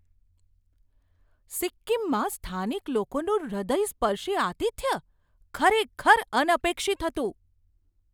સિક્કિમમાં સ્થાનિક લોકોનું હૃદયસ્પર્શી આતિથ્ય ખરેખર અનપેક્ષિત હતું.